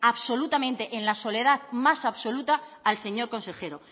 absolutamente en la soledad más absoluta al señor consejero